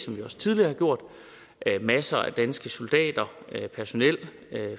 vi også tidligere har gjort masser af danske soldater personel